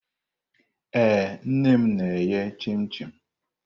Ee, nne m na-eghe chim-chim.